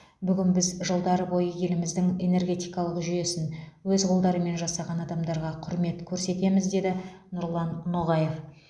бүгін біз жылдар бойы еліміздің энергетикалық жүйесін өз қолдарымен жасаған адамдарға құрмет көрсетеміз деді нұрлан ноғаев